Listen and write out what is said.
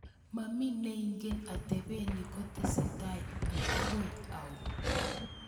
Momi neingen atepet ni kotesetai mbaka au.